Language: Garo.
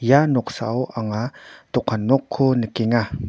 ia noksao anga dokan nokko nikenga.